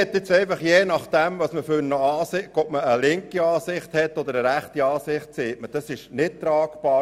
Je nachdem, ob man eine linke eine rechte Ansicht vertritt, sagt man, das sei nicht tragbar.